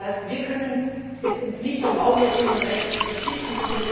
Das heißt, wir können es uns nicht erlauben, auf unsere Rechte zu verzichten.